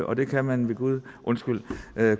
og det kan man ved gud undskyld